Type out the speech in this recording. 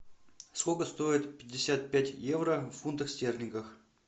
сколько стоит пятьдесят пять евро в фунтах стерлингах